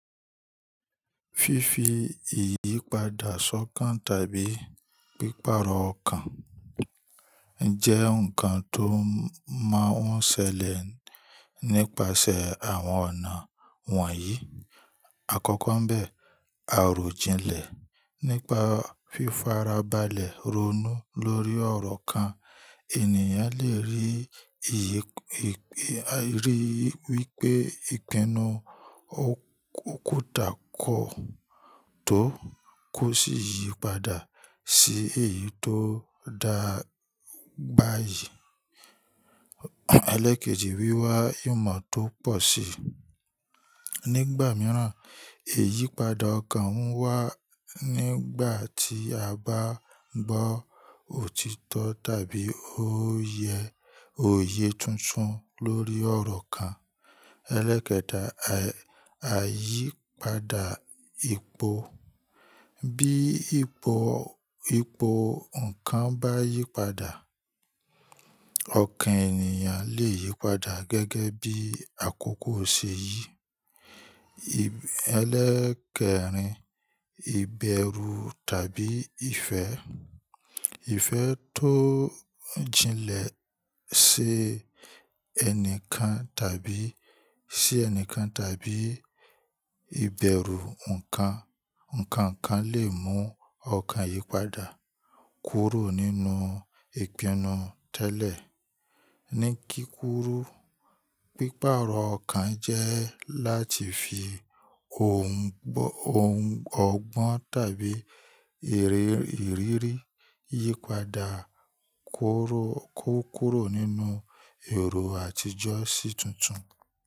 Fífi ìyípadà sọ́kàn tàbí píparọ ọ̀kan jẹ́ ǹkan tó máa ń ṣẹlẹ̀ nípasẹ̀ àwọn ọ̀nà wọ̀nyí: Àkọ́kọ́ ń bẹ, àròjinlẹ̀ nípa fífárabalẹ̀ ronú lórí ọ̀rọ̀ kan, ènìyàn lè rí wípé ìpinnu òkúta ko tó kò sì yípadà sí èyí tó dáa báyìí. Elékèjì, wíwá ìmọ̀ tó pò si. Nígbà mìíràn, ìyípadà ọ̀kan ń wá nígbà tí a bá gbọ́ òtítọ́ tàbí ó yẹ òye tuntun lórí ọ̀rọ̀ kan. Elẹ́kẹta, àyípadà ipò. Bí ipò ǹnkan bá yípadà, ọ̀kan ènìyàn lè yípadà gẹ́gẹ́ bí àkókò ṣe yí. Elẹ́kẹrin, ìbẹ̀rù tàbí ìfẹ́. Ìfẹ́ tó jinlẹ̀ sí ẹnìkan tàbí ìbẹ̀rù ǹnkan kan lè mú ọ̀kan yípadà kúrò nínú ìpinnu tẹ́lẹ̀. Ní kíkúrú, píparọ ọ̀kan jẹ́ láti fi ọgbọ́n tàbí ìrírí yípadà kúrò nínú èrò àtijọ́ sí tuntun.